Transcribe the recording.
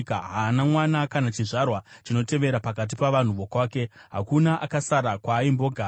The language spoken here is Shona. Haana mwana kana chizvarwa chinotevera pakati pavanhu vokwake, hakuna akasara kwaaimbogara.